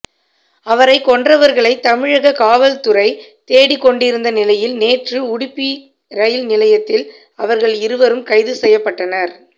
அவரை கொன்றவர்களை தமிழக காவல்துறை தேடிக் கொண்டிருந்த நிலையில் நேற்று உடுப்பி ரயில் நிலையத்தில் அவர்கள் இருவரும் கைது செய்யப்பட்டனர்